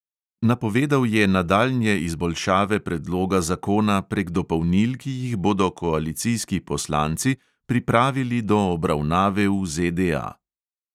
Napovedal je nadaljnje izboljšave predloga zakona prek dopolnil, ki jih bodo koalicijski poslanci pripravili do obravnave v ZDA.